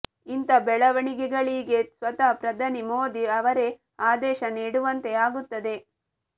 ಇಂಥ ಬೆಳವಣಿಗೆಗಳಿಗೆ ಸ್ವತಃ ಪ್ರಧಾನಿ ಮೋದಿ ಅವರೇ ಆದೇಶ ನೀಡುವಂತೆ ಅಗುತ್ತದೆ